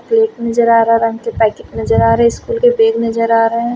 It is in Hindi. प्लेट नजर आ रहा हरा रंग के पैकेट नजर आ रहे स्कूल के बैग नजर आ रहे हैं।